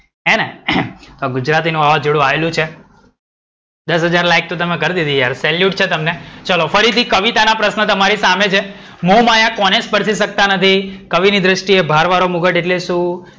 ગુજરાતી નું વાવાજોડું આયેલું છે. દસ હજાર લાઇક તો યાર કર દીધી તમે salute છે તમને. ચલો ફરીથી કવિતાના પ્રશ્નો તમારી સામે છે. મોહમાયા કોને સ્પર્શી સકતા નથી? કવિની ધ્રષ્ટિએ ભારવારો મુગટ એટ્લે શું?